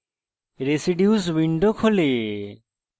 residues window খোলে